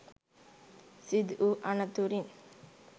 සිදුවූ අනතුරින්